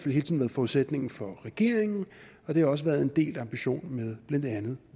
forudsætningen for regeringen og det har også været en del af ambitionen blandt andet